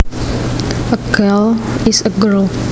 A gal is a girl